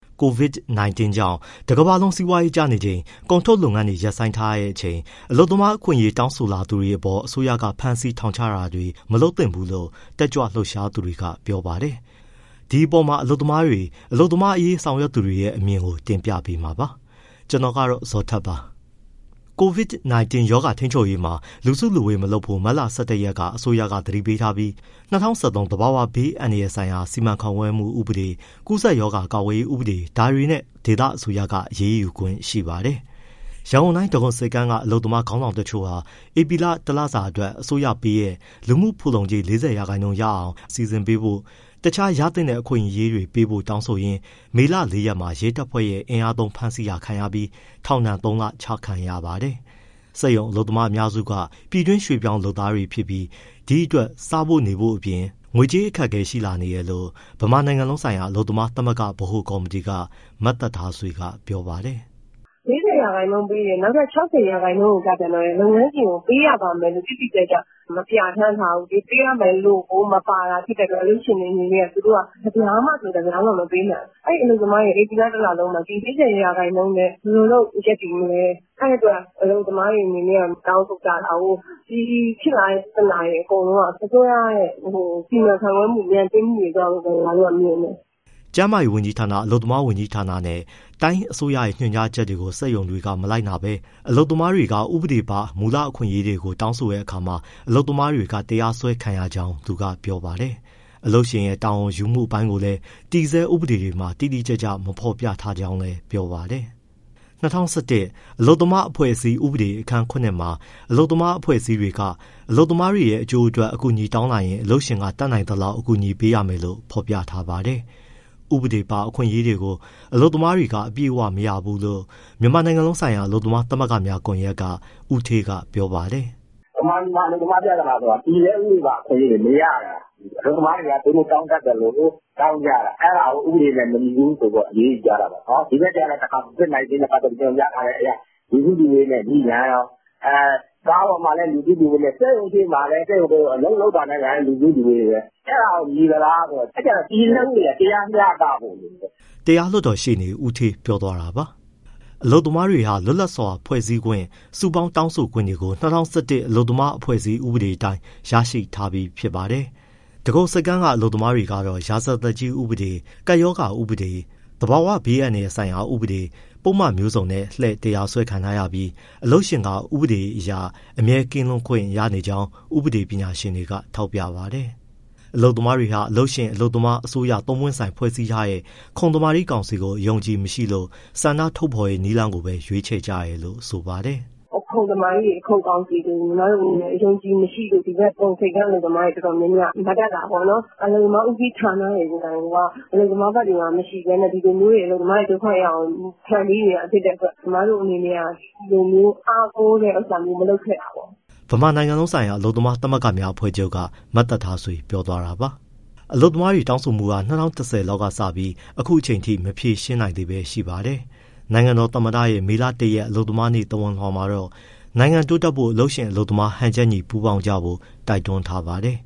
COVID-19 ကြောင့် တကမ္ဘာလုံး စီးပွားရေးကျနေချိန်၊ ကုန်ထုတ်လုပ်ငန်းတွေ ရပ်ဆိုင်းထားချိန် အလုပ်သမားအခွင့်အရေး တောင်းဆိုလာတဲ့သူတွေပေါ် အစိုးရက ဖမ်းဆီး၊ ထောင်ချတာတွေ မလုပ်သင့်ဘူးလို့ တက်ကြွလှုပ်ရှားသူတွေက ပြောပါတယ်။ ဒီအပေါ်မှာ အလုပ်သမားတွေ၊ အလုပ်သမားအရေး ဆောင်ရွက်သူတွေရဲ့ အမြင်ကို ဗွီအိုအေမြန်မာပိုင်းသတင်းထောက် ကိုဇော်ထက်က တင်ပြပေးပါမယ်။ COVID-19 ရောဂါထိန်းချုပ်ရေးမှာ လူစုလူဝေး မလုပ်ဖို့ မတ်လ ၁၁ ရက်မှာ အစိုးရက သတိပေးထားပြီး ၂၀၁၃ သဘာဝဘေးအန္တရာယ်ဆိုင်ရာ စီမံခန့်ခွဲမှု ဥပဒေ၊ ကူးစက်ရောဂါ ကာကွယ်ရေးဥပဒေ ဒါတွေနဲ့ ဒေသအစိုးရက အရေးယူခွင့်ရှိပါတယ်။ ရန်ကုန်တိုင်း၊ ဒဂုံဆိပ်ကမ်းက အလုပ်သမား ခေါင်းဆောင်တချို့ဟာ ဧပြီလ တလစာအတွက် အစိုးရပေးတဲ့ လူမှုဖူလုံကြေး ၄၀ ရာခိုင်နှုန်း ရအောင် အလုပ်ရှင်က စီစဉ်ပေးဖို့၊ တခြားရသင့်တဲ့ အခွင့်အရေးတွေပေးဖို့ တောင်းဆိုရင်း မေလ ၄ ရက်မှာ ရဲတပ်ဖွဲ့ရဲ့ အင်အားသုံးဖမ်းဆီးတာခံရပြီး ထောင်ဒဏ် ၃လ ချမှတ်ခံရပါတယ်။ စက်ရုံအလုပ်သမားအများစုက ပြည်တွင်ရွှေ့ပြောင်းလုပ်သားတွေ ဖြစ်ပြီး ဒီအတွက် စားဖို့အပြင် နေဖို့အတွက် ငွေကြေးအခက်အခဲ ရှိနေတယ်လို့ ဗမာနိုင်ငံလုံးဆိုင်ရာ အလုပ်သမားသမဂ္ဂ ဗဟိုကော်မတီက မသက်ထားဆွေက ပြောပါတယ်။ “၄၀ ရာခိုင်နှုန်းပေးတယ်၊ နောက် ၆၀ ရာခိုင်းနှုန်းကျပြန်တော့ လုပ်ငန်းရှင်က ပေးရပါမယ်လို့ တိတိကျကျ မပြဋ္ဌာန်းထားဘူး။ ပေးရမယ်လို့ကို မပါတာ ဖြစ်တဲ့အတွက် လုပ်ငန်းရှင်တွေအနေနဲ့က တပြားမှ မပေးဘူး။ အလုပ်သမားတွေက ဧပြီလ တလုံးမှာ ဒီ ၄၀ ရာခိုင်နှုန်းနဲ့ ဘယ်လိုလုပ် ရပ်တည်မလဲ။ အဲဒီအတွက် အလုပ်သမားတွေက တောင်းဆိုကြတာကိုး။ ဒီဖြစ်လာတဲ့ ပြဿနာတွေ အကုန်လုံးက အစိုးရရဲ့ စီမံခန့်ခွဲမှု ညံ့ဖျင်းမှုတွေကြောင့်လို့ ကျမတို့က မြင်တယ်။” ကျန်းမာရေးဝန်ကြီးဌာန၊ အလုပ်သမားဝန်ကြီးဌာနနဲ့ တိုင်းအစိုးရရဲ့ ညွှန်ကြားချက်တွေကို စက်ရုံတွေက မလိုက်နာဘဲ အလုပ်သမားတွေက ဥပဒေပါ မူလအခွင့်အရေးတွေကို တောင်းတဲ့အခါမှာ အလုပ်သမားတွေက တရားစွဲခံရကြောင်း သူကပြောပါတယ်။ အလုပ်ရှင်ရဲ့ တာဝန်ယူမှု အပိုင်းကိုလည်း တည်ဆဲဥပဒေတွေမှာ တိတိကျကျ မဖော်ပြထားကြောင်းလည်း ပြောပါတယ်။ ၂၀၁၁ အလုပ်သမားအဖွဲ့အစည်း ဥပဒေအခန်း (၇) မှာ အလုပ်သမားအဖွဲ့အစည်းတွေက အလုပ်သမားတွေ အကျိုးအတွက် အကူအညီ တောင်းလာရင် အလုပ်ရှင်က တတ်နိုင်သလောက် အကူအညီပေးရမယ်လို့ ဖော်ပြထားပါတယ်။ ဥပဒေပါ အခွင့်အရေးတွေကို အလုပ်သမားတွေက အပြည့်အဝ မရဘူလို့ မြန်မာနိုင်ငံလုံးဆိုင်ရာ အလုပ်သမားသမဂ္ဂများကွန်ရက်က ဦးဌေးကပြောပါတယ်။ “ဗမာပြည်မှာပြသနာဆိုတာ တည်ဆဲဥပဒေပါ အခွင့်အရေးတွေ မရတာ၊ အလုပ်သမားတွေက သူတို့တောင်းတတ်သလို တောင်းကြတာ။ အဲဒါကို ဥပဒေနဲ့ မညီဘူးဆိုပြီး အရေးယူကြတာပေါ့။ ဒီဘက်ကျတော့ COVID-19 နဲ့ပတ်သတ်ပြီး ညွှန်ကြားထားချက်အရ လူစုလူဝေးနဲ့ ငြိပြန်ရော။ ကားပေါ်မှာလည်း လူစုလူဝေးနဲ့ စက်ရုံရှေ့မှာလည်း အလုပ်လုပ်တာနဲ့ လူစုလူဝေးပဲ။ အဲဒါရော ညီသလားဆိုတော့ အဲဒါကြောင့် တည်ဆဲဥပဒေအရ တရားမျှတဖို့လိုတယ်။” တရားလွှတ်တော်ရှေ့နေ ဦးဌေးပြောသွားတာပါ။ အလုပ်သမားတွေဟာ လွတ်လပ်စွာ ဖွဲ့စည်းခွင့်၊ တောင်းဆိုခွင့်၊ စုပေါင်းတောင်းဆိုခွင့်တွေကို ၂၀၁၁ အလုပ်သမားအဖွဲ့အစည်း ဥပဒေအတိုင်း ရရှိထားပြီးဖြစ်ပါတယ်။ ဒဂုံဆိပ်ကမ်းက အလုပ်မားကတော့ ရာဇသတ်ကြီးဥပေဒ၊ ကပ်ရောဂါဥပဒေ၊ သဘာဝဘေအန္တရာယ်ဆိုင်ရာ ဥပဒေ၊ ပုဒ်မမျိုးစုံနဲ့ လှည့်တရားစွဲခံထားရပြီး အလုပ်ရှင်က ဥပဒေအရ အမြဲကင်းလွတ်ခွင့်ရနေကြောင်း ဥပဒေပညာရှင်တွေက ထောက်ပြပါတယ်။ အလုပ်သမားတွေဟာ အလုပ်ရှင်၊ အလုပ်သမား၊ အစိုးရ သုံးပွင့်ဆိုင်ဖွဲ့စည်းထားတဲ့ ခုံသမာဓိကောင်စီကို အယုံအကြည်မရှိလို့ ဆန္ဒထုတ်ဖော်တဲ့ နည်းလမ်းကို ရွေးချယ်ကြတယ်လို့ဆိုပါတယ်။ “ခုံသမာဓိတွေ၊ ခုံကောင်စီတွေကို အယုံအကြည်မရှိလို့ ဒဂုံဆိပ်ကမ်း အလုပ်သမားတွေက မတက်တာပေါ့နော်။ အလုပ်သမားဦးစီးဌာနတွေ ကိုယ်တိုင်ကိုက အလုပ်သမားဘက်တွေမှာ မရှိဘဲနဲ့ အလုပ်သမားတွေ ဒုက္ခရောက်အောင် ဖန်တီးနေတာဖြစ်တဲ့အတွက် ကျမတို့က ဒီလိုမျိုး အားကိုးတဲ့ဟာမျိုး မလုပ်ခဲ့တာပေါ့။” ဗမာနိုင်ငံလုံးဆိုင်ရာ အလုပ်သမားသမဂ္ဂများအဖွဲ့ချုပ်က မသက်ထားဆွေ ပြောသွားတာပါ။ အလုပ်သမားတောင်းဆိုမှုတွေဟာ ၂၀၁၀ လောက်ကစပြီး အခုအချိန်အထိ မဖြေရှင်းနိုင်သေးပဲရှိပါတယ်။ နိုင်ငံတော်သမ္မတရဲ့ မေလ ၁ရက် ကမ္ဘာ့အလုပ်သမားနေ့ သဝဏ်လွှာမှာတော့ နိုင်ငံတိုးတက်ဖို့ အလုပ်ရှင်၊ အလုပ်သမား ဟန်ချက်ညီ ပူးပေါင်းကြဖို့ တိုက်တွန်းထားပါတယ်